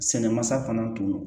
Sɛnɛ masa fana tun do